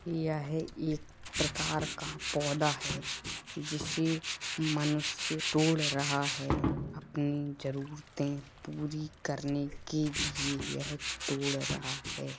यह एक प्रकार का पौधा है जिसे मनुष्य तोड़ रहा है। अपनी जरूरतें पूरी करने के लिए यह तोड़ रहा है।